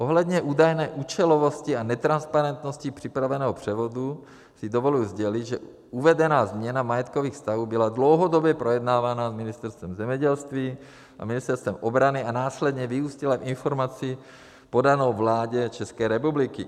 Ohledně údajné účelovosti a netransparentnosti připraveného převodu si dovoluji sdělit, že uvedená změna majetkových vztahů byla dlouhodobě projednávaná s Ministerstvem zemědělství a Ministerstvem obrany a následně vyústila v informaci podanou vládě České republiky.